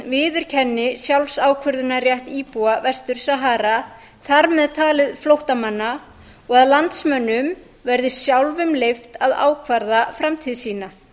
viðurkenni sjálfsákvörðunarrétt íbúa vestur sahara þar með talið flóttamanna og að landsmönnum verði sjálfum leyft að ákvarða framtíð sína